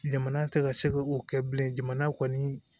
Jamana tɛ ka se k'o kɛ bilen jamana kɔni